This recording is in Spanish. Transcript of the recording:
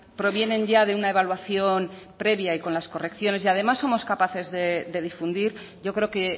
provienen ya de una evaluación previa y con las correcciones y además somos capaces de difundir yo creo que